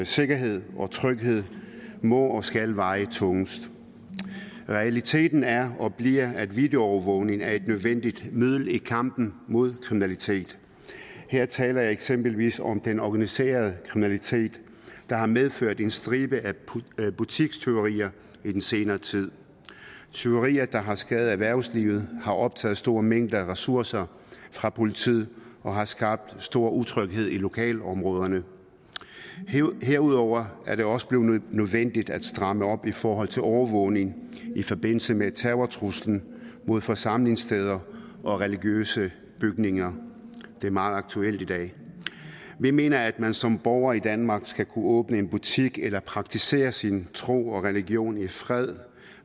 sikkerhed og tryghed må og skal vejet tungest realiteten er og bliver at videoovervågning er et nødvendigt middel i kampen mod kriminalitet her taler jeg eksempelvis om den organiserede kriminalitet der har medført en stribe af butikstyverier i den senere tid tyverier der har skadet erhvervslivet har optaget store mængder af ressourcer fra politiet og har skabt stor utryghed i lokalområderne herudover er det også blevet nødvendigt at stramme op i forhold til overvågning i forbindelse med terrortruslen mod forsamlingssteder og religiøse bygninger det er meget aktuelt i dag vi mener at man som borger i danmark skal kunne åbne en butik eller praktisere sin tro og religion i fred